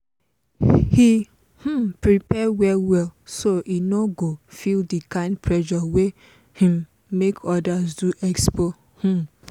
e um prepare well well so e no go feel the kind pressure wey um make others do expo. um